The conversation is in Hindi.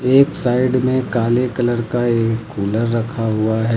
एक साइड में काले कलर का एक कूलर रखा हुआ है।